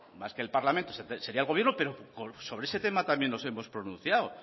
más que el parlamento sería el gobierno pero sobre ese tema también nos hemos pronunciado